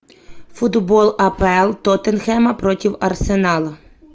футбол апл тоттенхэма против арсенала